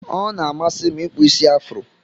Ọna amasim ikpụ isi afro.